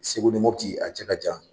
Segu ni Mopti a cɛ ka jan.